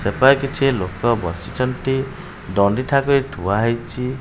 ସେପା କିଛି ଲୋକ ବସିଛନ୍ତି ଦଣ୍ଡି ଠା ବି ଥୁଆ ହେଇଚି।